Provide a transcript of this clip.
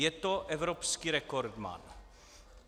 Je to evropský rekordman."